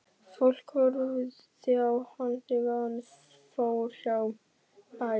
Fólk horfði á hann þegar hann fór hjá bæjum.